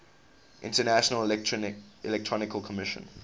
international electrotechnical commission